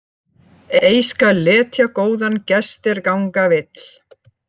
Ei skal letja góðan gest er ganga vill.